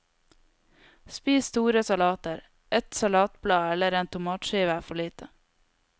Spis store salater, ett salatblad eller en tomatskive er for lite.